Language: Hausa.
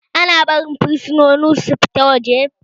Ana barin fursunoni su fita waje?